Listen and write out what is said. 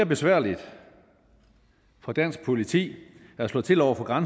besværligt for dansk politi at slå til over for